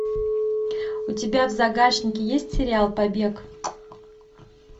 у тебя в загашнике есть сериал побег